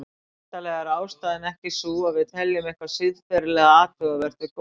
Væntanlega er ástæðan ekki sú að við teljum eitthvað siðferðilega athugavert við gólfþvotta.